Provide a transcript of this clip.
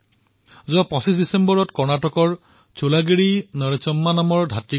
ঠিক সেইদৰে ২৫ ডিচেম্বৰ তাৰিখে কৰ্ণাটকৰ সুলাগিট্টি নৰসম্মাৰ দেহপ্ৰয়াণ হোৱাৰ বাৰ্তা পালো